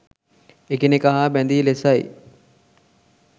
එකිනෙක හා බැදී ලෙසයි